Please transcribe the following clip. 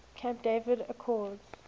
camp david accords